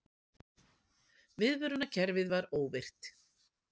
Viðvörunarkerfið var óvirkt